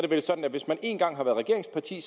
vel sådan at hvis man én gang har været regeringsparti